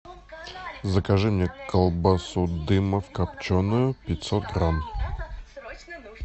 закажи мне колбасу дымов копченую пятьсот грамм